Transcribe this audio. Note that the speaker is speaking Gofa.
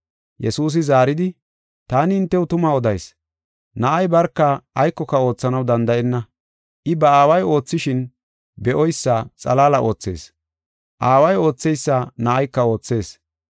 Yesuusi zaaridi, “Taani hintew tuma odayis; Na7ay barka aykoka oothanaw danda7enna. I ba Aaway oothishin be7oysa xalaala oothees. Aaway ootheysa Na7ayka oothees.